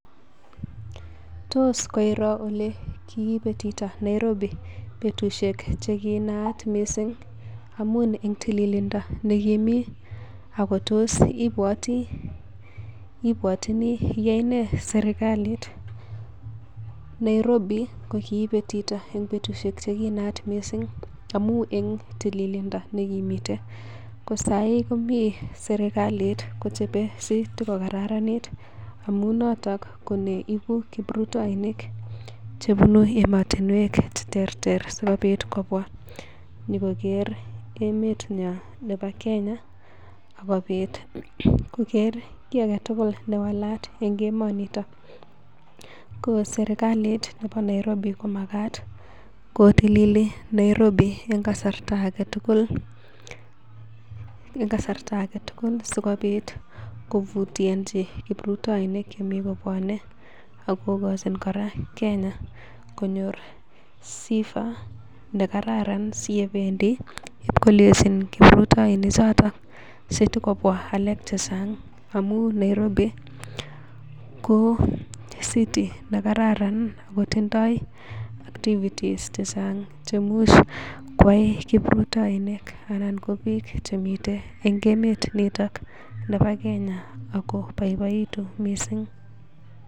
Tos koiro ole kiipetito Nairobi betusiek che kinaat mising amun eng tililindo nekimi ako tos ibwatini yai nee serikalit? Nairobi kokibetito en betushek che kinaat mising amun en tililindo nekimiten ko saii komi serkalit kochobe sikotakokararanit amun noton ko neibu kiprutoinik chebun emotinwek che terter si kobit kobwa nyokoker emenyon nebo Kenya ak kobit koger kiy age tugul newalt en emonito. Ko serkalit nebo Nairobi komagat kotilili Nairobi en kasarta age tugul. Sikobit kovutianji kiprutonik chemi kobwone ak kogochin kora Kenya konyor sifa nekararan si yebendi ipkolenji kiprutoinik chuto sitakobwa alak che chang amun Nairobi ko city nekararan ago tindoi activities che chang che imuch koyae kiprutoinik anan ko biik che miten en emet nito nibo Kenya agoboiboetu mising.